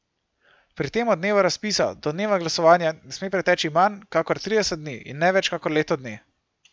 Pri tem od dneva razpisa do dneva glasovanja ne sme preteči manj kakor trideset dni in ne več kakor leto dni.